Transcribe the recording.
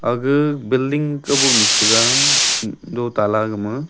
aga building kaubo nyu che tega do tala gama.